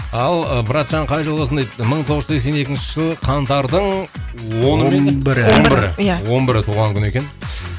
ал ы братжан қай жылғысың дейді мың тоғыз жүз сексен екінші жылы қаңтардың оны ма еді он бірі иә он бірі туған күні екен